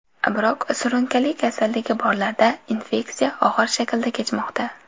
Biroq surunkali kasalligi borlarda infeksiya og‘ir shaklda kechmoqda.